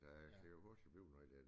Der kan jo pludselig blive noget der